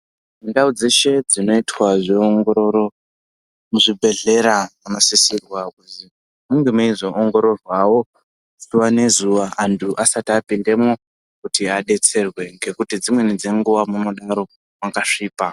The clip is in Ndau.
Ndau dzeshe dzinoitwa zveongororo muzvibhedhlera munosisirwa kuti munge meizoongororwawo zuwa ngezuwa antu asati apindamo kuti adetserwe ngekuti dzimweni dzenguwa munodaro makasvipa.